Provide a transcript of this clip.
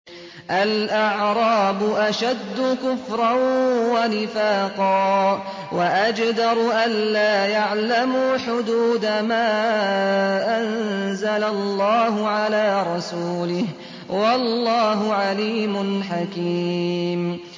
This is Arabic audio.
الْأَعْرَابُ أَشَدُّ كُفْرًا وَنِفَاقًا وَأَجْدَرُ أَلَّا يَعْلَمُوا حُدُودَ مَا أَنزَلَ اللَّهُ عَلَىٰ رَسُولِهِ ۗ وَاللَّهُ عَلِيمٌ حَكِيمٌ